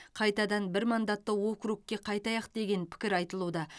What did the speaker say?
қайтадан бір мандатты округке қайтайық деген пікір айтылуда